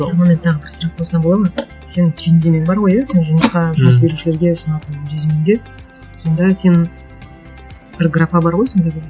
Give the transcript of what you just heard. саған мен тағы бір сұрақ қойсам болады ма сенің түйіндемең бар ғой иә сен жұмысқа жұмыс берушілерге ұсынатын резюмеңде сонда сен бір графа бар ғой сонда бір